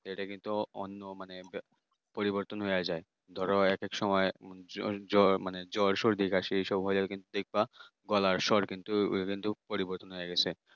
এটা কিন্তু অন্য মানে পরিবর্তন হয়ে যায় ধরো একেক সময় জ্বর জ্বর মানে জ্বর সর্দি কাশি, এসব হয় কিন্তু দেখবা গলার স্বর কিন্তু পরিবর্তন হয়ে গেছে।